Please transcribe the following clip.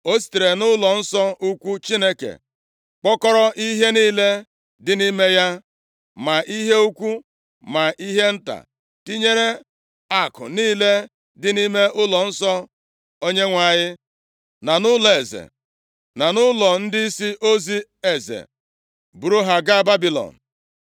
O sitere nʼụlọnsọ ukwu Chineke kpokọrọ ihe niile dị nʼime ya, ma ihe ukwu ma ihe nta, tinyere akụ niile dị nʼime ụlọnsọ Onyenwe anyị, na nʼụlọeze, na nʼụlọ ndịisi ozi eze buru ha gaa Babilọn.